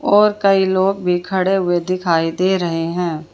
और कई लोग भी खड़े हुए दिखाई दे रहे हैं।